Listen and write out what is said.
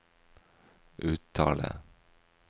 uttale